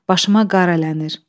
Başıma qar ələnir.